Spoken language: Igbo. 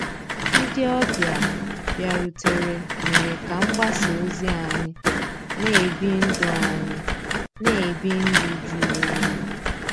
Ndị́ ọ̀bịá bìàrùtérè mérè ká mgbàsá òzí ànyị́ ná-èbí ndụ́ ànyị́ ná-èbí ndụ́ jụ̀rụ́ òyì.